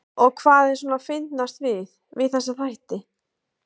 Helga: Og hvað er svona fyndnast við, við þessa þætti?